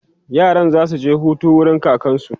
yaran zasu je Hutu wurin kakansu